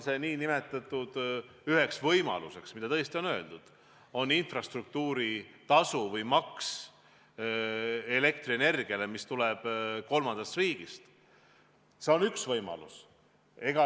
Nüüd, kui te toote sisse infrastruktuuri tasu või maksu kehtestamise elektrienergiale, mis tuleb kolmandast riigist, siis see on üks võimalus.